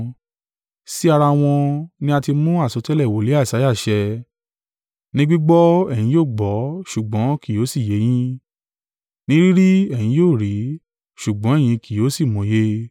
Sí ara wọn ni a ti mú àsọtẹ́lẹ̀ wòlíì Isaiah ṣẹ: “ ‘Ní gbígbọ́ ẹ̀yin yóò gbọ́ ṣùgbọ́n kì yóò sì yé yín; ní rí rí ẹ̀yin yóò rí, ṣùgbọ́n ẹ̀yin kì yóò sì mòye.